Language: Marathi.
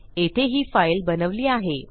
येथे ही फाईल बनवली आहे